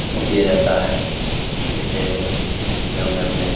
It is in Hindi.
वो किया जाता है जैसे में अपने --